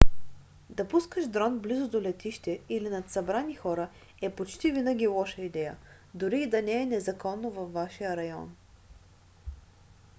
да пускаш дрон близо до летище или над събрани хора е почти винаги лоша идея дори и да не е незаконно във вашия район